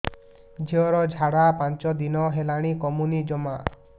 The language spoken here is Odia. ଝିଅର ଝାଡା ପାଞ୍ଚ ଦିନ ହେଲାଣି କମୁନି ଜମା